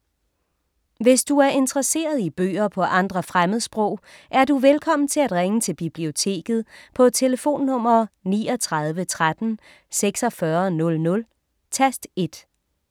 Hvis du er interesseret i bøger på andre fremmedsprog, er du velkommen til at ringe til Biblioteket på tlf. 39 13 46 00, tast 1.